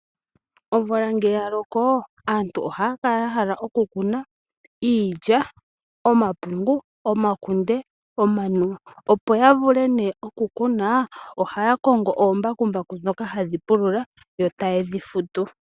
Omvula ngele ya loko aantu ohaya kala ya hala okukuna iilya, omapungu, omakunde, omanuwa. Opo ya vule nee okukuna, ohaya kongo oombakumbaku dhoka hadhi pulula, yo taye dhi futu.